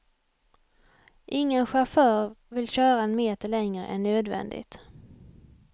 Ingen chaufför vill köra en meter längre än nödvändigt.